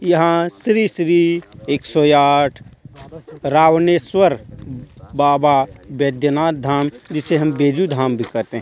यहाँ श्री श्री एक सो आठ रावनेश्वर बाबा बैद्यनाथ धाम जिसे हम बैजू धाम भी कहते हे.